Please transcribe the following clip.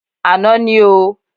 Àná ní o.